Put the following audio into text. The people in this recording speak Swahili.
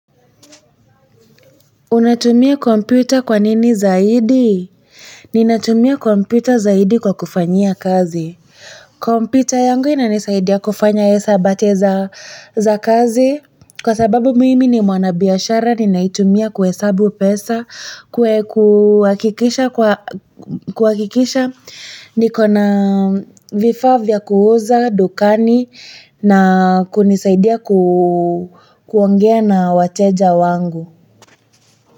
Unatumia kompyuta kwanini zaidi? Ninatumia kompyuta zaidi kwa kufanyia kazi. Kompyuta yangu inanisaidia kufanya hesabati za kazi. Kwa sababu mimi ni mwanabiashara, ninaitumia kuhesabu pesa, kwa kuhakikisha, nikona vifaa vya kuuza, dukani, na kunisaidia kuongea na wateja wangu.